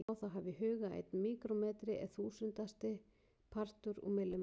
Má þá hafa í huga að einn míkrómetri er þúsundasti partur úr millimetra.